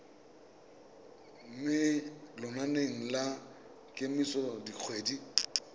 mo lenaneng la kemiso dikgwedi